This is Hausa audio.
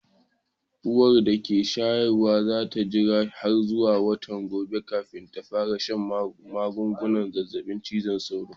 Uwar da ke shayarwan za ta jira har zuwa watan gobe kafin ta fara shan magungunan zazzabin cizon sauro.